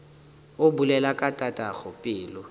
o bolela ka tatago pelo